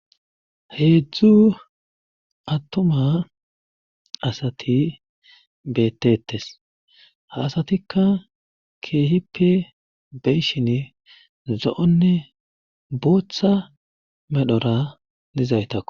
heedzdzu attoma asati beettetes ha asatikka keehippe beyshin zo7onne booththa medhora dizaytakk